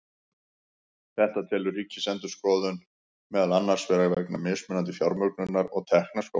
Þetta telur Ríkisendurskoðun meðal annars vera vegna mismunandi fjármögnunar og tekna skólanna.